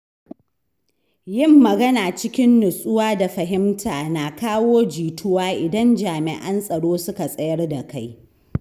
Yin magana cikin nutsuwa da fahimta na kawo jituwa idan jami’an tsaro suka tsayar da kai.